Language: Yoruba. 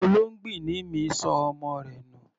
Olóngbìnní mi ṣọ ọmọ rẹ̀ nù.